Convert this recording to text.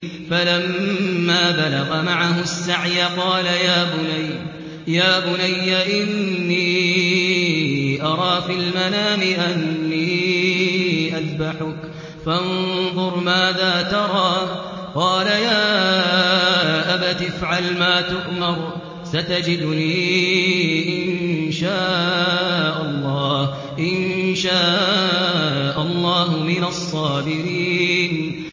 فَلَمَّا بَلَغَ مَعَهُ السَّعْيَ قَالَ يَا بُنَيَّ إِنِّي أَرَىٰ فِي الْمَنَامِ أَنِّي أَذْبَحُكَ فَانظُرْ مَاذَا تَرَىٰ ۚ قَالَ يَا أَبَتِ افْعَلْ مَا تُؤْمَرُ ۖ سَتَجِدُنِي إِن شَاءَ اللَّهُ مِنَ الصَّابِرِينَ